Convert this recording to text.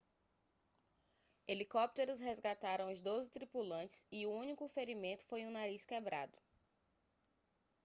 helicópteros resgataram os doze tripulantes e o único ferimento foi um nariz quebrado